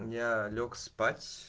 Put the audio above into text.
я лёг спать